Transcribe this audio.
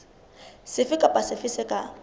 sefe kapa sefe se ka